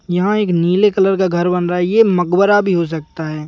यहाँ एक नीले कलर का घर बन रहा है यह मकबरा भी हो सकता है।